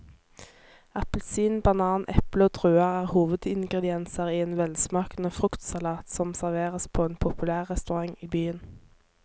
Appelsin, banan, eple og druer er hovedingredienser i en velsmakende fruktsalat som serveres på en populær restaurant i byen.